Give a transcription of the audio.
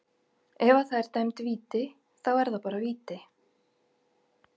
Ef að það er dæmd víti, þá er það bara víti.